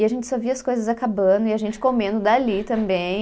E a gente só via as coisas acabando e a gente comendo dali também.